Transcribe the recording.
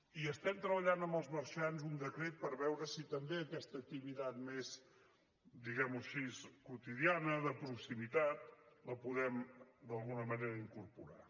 i estem treballant amb els marxants un decret per veure si també aquesta activitat més diguem ho així quotidiana de proximitat la podem d’alguna manera incorporar